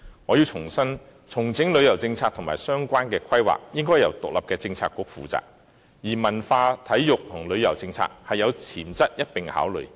我要重申，重整旅遊政策和相關規劃，應由獨立的政策局負責，而文化、體育及旅遊政策是有潛質一併考慮的。